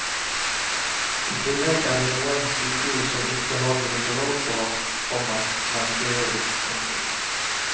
I tillegg er det noen sykehus som ikke har gynekolog på vakt, komma men kirurg. punktum